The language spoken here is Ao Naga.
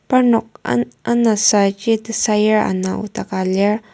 parnok ana anasaji tesayur ana nokdaka lir.